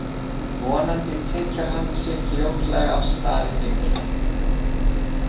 Vonandi tygjar hann sig fljótlega af stað í vinnuna.